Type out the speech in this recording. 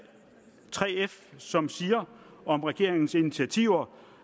3f som siger om regeringens initiativer